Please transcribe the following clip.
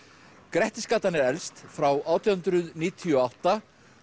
grettisgatan er elst frá átján hundruð níutíu og átta